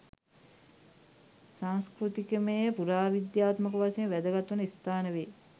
සංස්කෘතිකමය පුරාවිද්‍යාත්මක වශයෙන් වැදගත් වන ස්ථාන වේ